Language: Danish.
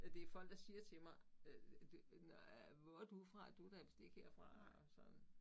Øh det folk der siger til mig øh det øh hvor er du fra du da vist ikke herfra og sådan